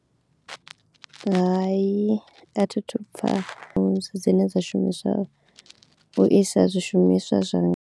Hai a thi thu pfa dzine shumiswa u isa zwishumiswa zwa.